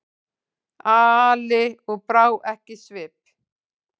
Ali og brá ekki svip.